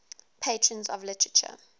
patrons of literature